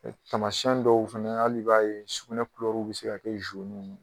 Tamasiɲɛn dɔw fɛnɛ hali b'a ye sugunɛ be se ka kɛ ye.